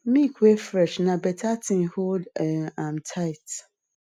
milk wey fresh na better thing hold um am tight